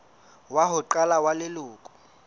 wa ho qala wa leloko